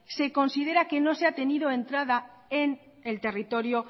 se considera que no se ha tenido entrada en el territorio